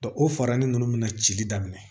o faranin ninnu mina cili daminɛ